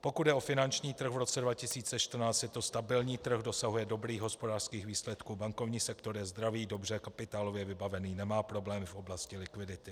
Pokud jde o finanční trh v roce 2014, je to stabilní trh, dosahuje dobrých hospodářských výsledků, bankovní sektor je zdravý, dobře kapitálově vybavený, nemá problém v oblasti likvidity.